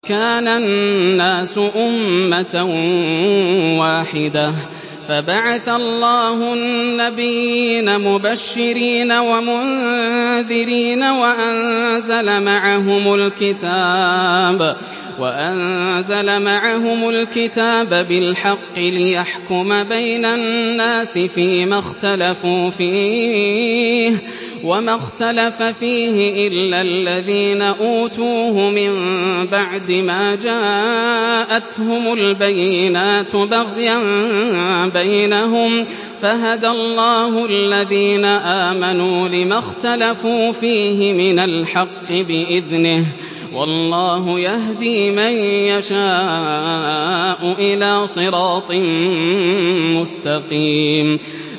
كَانَ النَّاسُ أُمَّةً وَاحِدَةً فَبَعَثَ اللَّهُ النَّبِيِّينَ مُبَشِّرِينَ وَمُنذِرِينَ وَأَنزَلَ مَعَهُمُ الْكِتَابَ بِالْحَقِّ لِيَحْكُمَ بَيْنَ النَّاسِ فِيمَا اخْتَلَفُوا فِيهِ ۚ وَمَا اخْتَلَفَ فِيهِ إِلَّا الَّذِينَ أُوتُوهُ مِن بَعْدِ مَا جَاءَتْهُمُ الْبَيِّنَاتُ بَغْيًا بَيْنَهُمْ ۖ فَهَدَى اللَّهُ الَّذِينَ آمَنُوا لِمَا اخْتَلَفُوا فِيهِ مِنَ الْحَقِّ بِإِذْنِهِ ۗ وَاللَّهُ يَهْدِي مَن يَشَاءُ إِلَىٰ صِرَاطٍ مُّسْتَقِيمٍ